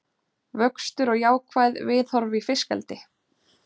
Vöxtur og jákvæð viðhorf í fiskeldi